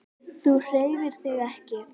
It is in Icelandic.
Þú hreyfir þig ekki.